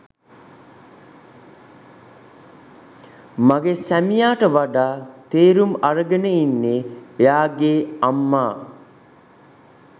මගේ සැමියාට වඩා තේරුම් අරගෙන ඉන්නේ එයාගේ අම්මා.